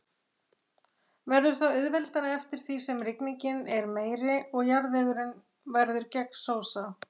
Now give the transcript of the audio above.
Verður það auðveldara eftir því sem rigningin er meiri og jarðvegurinn verður gegnsósa.